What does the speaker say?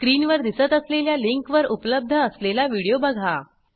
स्क्रीनवर दिसत असलेल्या लिंकवर उपलब्ध असलेला व्हिडिओ बघा